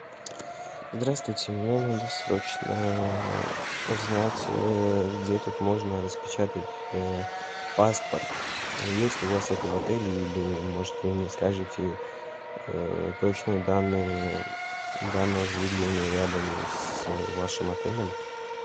здравствуйте мне надо срочно узнать где тут можно распечатать паспорт есть ли у вас это в отеле или может вы мне скажите точные данные данного заведения рядом с вашим отелем